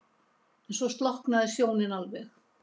En svo slokknaði sjónin alveg.